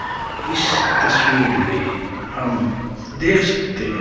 इस तस्वीर में हम देख सकते हैं।